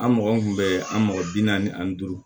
An mɔgɔ mun kun bɛ an mɔgɔ bi naani ani duuru